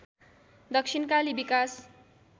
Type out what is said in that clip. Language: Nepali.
दक्षिणकाली विकास